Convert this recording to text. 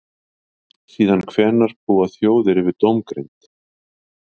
Síðan hvenær búa þjóðir yfir dómgreind?